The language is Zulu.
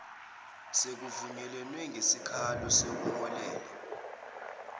sekuvunyelwene ngesikalo sokuholela